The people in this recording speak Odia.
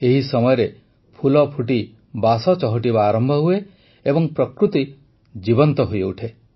ଏହି ସମୟରେ ଫୁଲ ଫୁଟି ବାସ ଚହଟିବା ଆରମ୍ଭ ହୁଏ ଏବଂ ପ୍ରକୃତି ଜୀବନ୍ତ ହୋଇଉଠେ